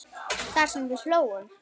Það sem við hlógum.